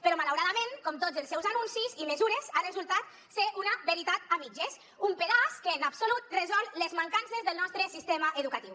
però malauradament com tots els seus anuncis i mesures ha resultat ser una veritat a mitges un pedaç que en absolut resol les mancances del nostre sistema educatiu